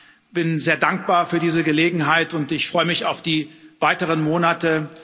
Ich bin sehr dankbar für diese Gelegenheit und ich freue mich auf die weiteren Monate.